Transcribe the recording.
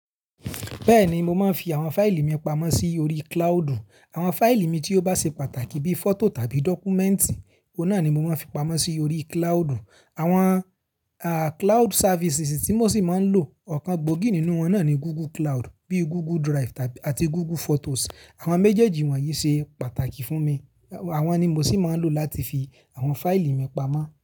Bẹ́ẹ̀ni, mo máa ń fi àwọn fáìlì mi pamọ́ sí orí cloudu. Àwọn fáìlì mi tí ó bá ṣe pàtàkì bí i fọ́tò tàbí dọ́kúmẹ́ǹtì, ọ̀un naa ni mo máa ń fi pamọ́ sí orí cloud. Àwọn cloud services tí mo sì máa ń lò, ọ̀kan gbòógì nínú wọn náà ni Google Cloud, bíi Google Drive àti Google Photos. Àwọn méjèèjì wọ̀nyí ṣe pàtàkì fún mi. Àwọn ni mo sì máa ń lò láti fi àwọn fáìlì mi pamọ́.